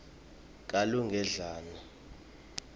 kalugedlane